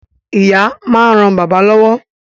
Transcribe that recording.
Ìyá máa ń ran bàbá lọ́wọ́